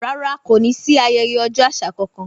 Rárá kò ní sí ayẹyẹ ọjọ́ àṣà kankan